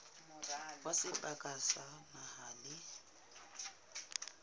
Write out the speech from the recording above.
wa seboka sa naha le